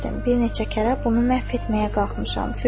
Bir neçə kərə bunu məhv etməyə qalxmışam.